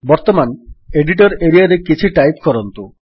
ବର୍ତ୍ତମାନ ଏଡିଟର୍ ଏରିଆରେ କିଛି ଟାଇପ୍ କରନ୍ତୁ